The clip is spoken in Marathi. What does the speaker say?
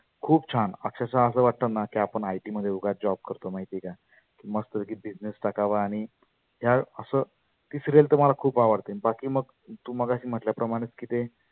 खुप छान. अक्षरषः असं वाटतना की आपण IT मध्ये उगाच Job करतो माहिती आहे का? मस्त पैकी business टाकावा आणि ह्या असं. ती serial तर मला खुप आवडते. आन बाकी मग तु मगाशी म्हटल्या प्रमानेच की ते